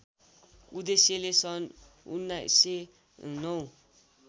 उद्देश्यले सन् १९०९